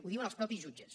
ho diuen els mateixos jutges